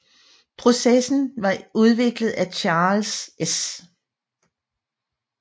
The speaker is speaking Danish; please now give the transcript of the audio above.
Processen som var udviklet af Charles S